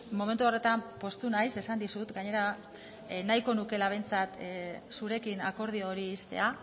momentu horretan poztu naiz esan dizut gainera nahiko nukeela behintzat zurekin akordio hori ixtea